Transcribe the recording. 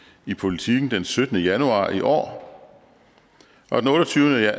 i politiken den syttende januar i år og den otteogtyvende